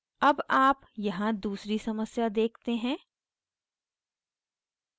अब आप यहाँ दूसरी समस्या देखते हैं